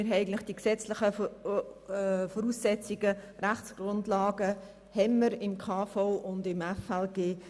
Wir haben die gesetzlichen Grundlagen in der Kantonsverfassung und im FLG.